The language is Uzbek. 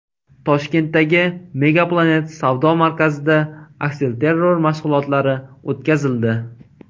Toshkentdagi MegaPlanet savdo markazida aksilterror mashg‘ulotlari o‘tkazildi.